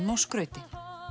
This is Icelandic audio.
skrauti